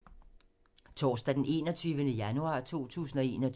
Torsdag d. 21. januar 2021